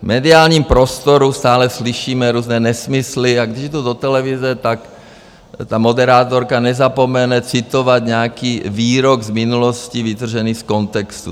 V mediálním prostoru stále slyšíme různé nesmysly a když jdu do televize, tak ta moderátorka nezapomene citovat nějaký výrok z minulosti vytržený z kontextu.